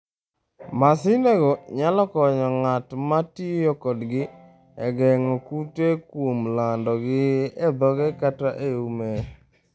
Masindego nyalo konyo ng'at ma tiyo kodgi e geng'o kute kuom landogi e dhoge kata e ume.